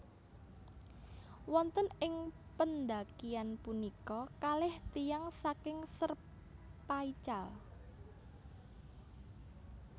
Wonten ing pendakian punika kalih tiyang saking Sherpa ical